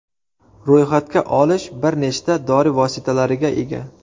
Ro‘yxatga olish bir nechta dori vositalariga ega.